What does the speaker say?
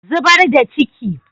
Zubar da ciki.